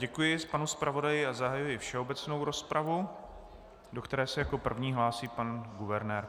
Děkuji panu zpravodaji a zahajuji všeobecnou rozpravu, do které se jako první hlásí pan guvernér.